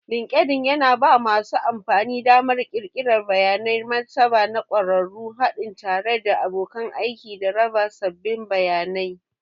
Linkedln yana ba masu amfani damar ƙirƙirar bayanan martaba na ƙwararru, haɗi tare da abokan aiki, da raba sabbin bayanai.